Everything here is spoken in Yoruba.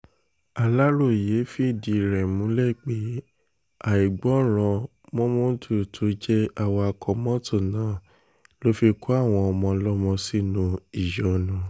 aláròye fìdí rẹ̀ múlẹ̀ pé àìgbọràn mómódù tó jẹ́ awakọ̀ mọ́tò náà ló fi kó àwọn ọmọ ọlọ́mọ sínú ìyọnu